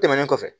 Tɛmɛnen kɔfɛ